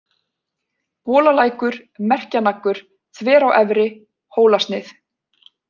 Bolalækur, Merkjanaggur, Þverá efri, Hólasnið